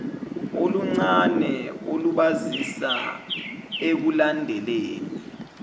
oluncane olubasiza ekulandeleni